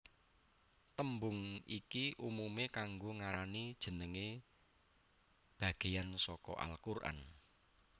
Tembung iki umumé kanggo ngarani jenengé bagéyan saka al Qur an